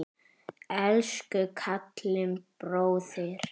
Elsku Kalli bróðir.